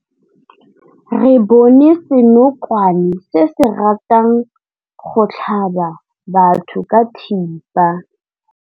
Re bone senokwane se se ratang go tlhaba batho ka thipa.